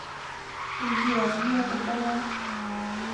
сбер некоторое